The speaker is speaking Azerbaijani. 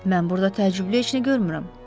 Mən burda təəccüblü heç nə görmürəm.